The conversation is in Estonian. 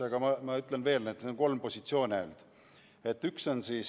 Aga ütlen veel kord, et ainult kolm positsiooni on.